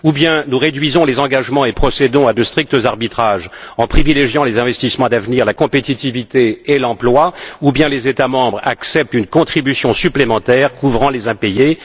Ou bien, nous réduisons les engagements et procédons à de stricts arbitrages en privilégiant les investissements d'avenir, la compétitivité et l'emploi, ou bien, les États membres acceptent une contribution supplémentaire couvrant les impayés.